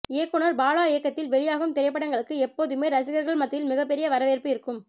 இயக்குனர் பாலா இயக்கத்தில் வெளியாகும் திரைப்படங்களுக்கு எப்போதுமே ரசிகர்கள் மத்தியில் மிக பெரிய வரவேற்பு இருக்கும்